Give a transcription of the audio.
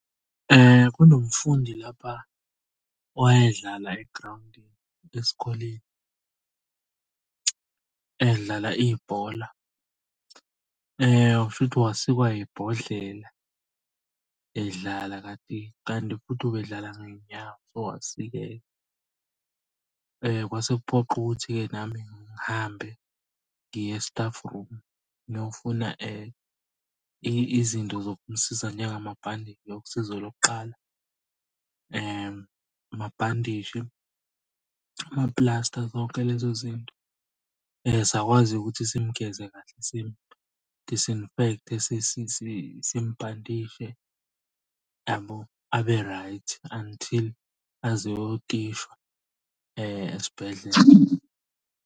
Kunomfundi lapha owayedlala egrawundini esikoleni edlala ibhola. Kushuthi wasikwa ibhodlela edlala kati, kanti futhi ubedlala ngey'nyawo so wasikeka. Kwase kuphoqa ukuthi-ke nami ngihambe ngiye e-staff room ngiyofuna izinto zokumsiza njengamabhandishi kosizo lokuqala. Amabhandishi, amaplasta zonke lezo zinto. Sakwazi-ke ukuthi simgeze kahle, simu-disinfect-e simubhandishe yabo abe right until aze ayotishwa esibhedlela.